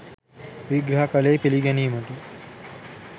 විග්‍රහ කළේ පිළිගැනීමට